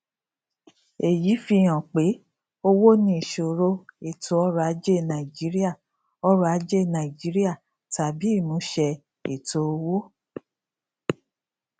èyí fi hàn pé owó ní ìṣòro ètò ọrọ ajé nàìjíríà ọrọ ajé nàìjíríà tàbí ìmúṣẹ ètò owó